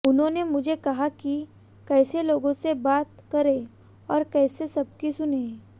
उन्होंने मुझे कहा कि कैसे लोगों से बात करें और कैसे सबकी सुनें